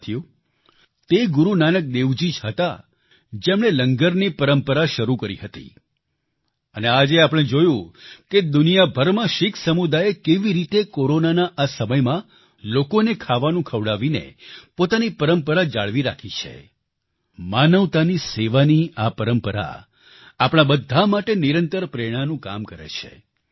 સાથીઓ તે ગુરુ નાનક દેવજી જ હતા જેમણે લંગરની પરંપરા શરૂ કરી હતી અને આજે આપણે જોયું કે દુનિયાભરમાં શીખ સમુદાયે કેવી રીતે કોરોનાના આ સમયમાં લોકોનો ખાવાનું ખવડાવવાની પોતાની પરંપરા જાળવી રાખી છે માનવતાની સેવાની આ પરંપરા આપણા બધા માટે નિરંતર પ્રેરણાનું કામ કરે છે